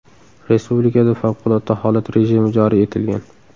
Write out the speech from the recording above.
Respublikada favqulodda holat rejimi joriy etilgan.